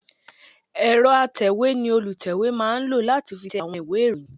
Ẹ̀rọ atẹ̀wé ni olùtẹ̀wé máa ń lò láti fi tẹ àwọn ìwé ìròyìn